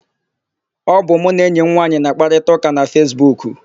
Ọ bụ mụ na enyi m nwaanyị na-àkpárịtaụka na Fesbuku.